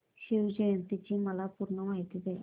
शिवजयंती ची मला पूर्ण माहिती दे